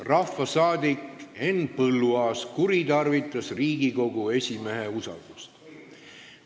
Rahvasaadik Henn Põlluaas kuritarvitas Riigikogu esimehe usaldust.